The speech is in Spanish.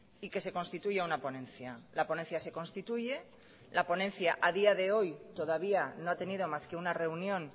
y que se constituya una ponencia la ponencia se constituye la ponencia a día de hoy todavía no ha tenido más que una reunión